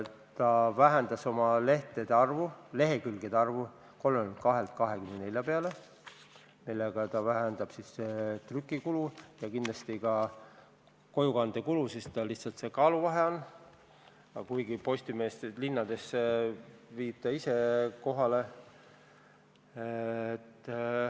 Ta vähendas lehekülgede arvu 32-lt 24-le, mille tulemusena väheneb trükikulu ja kindlasti ka kojukandekulu, sest tekib kaaluvahe, kuigi linnades viib ettevõte ajalehed ise kohale.